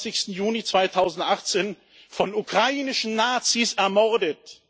23. Juni 2018 von ukrainischen Nazis ermordet.